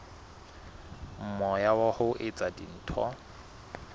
moya wa ho etsa dintho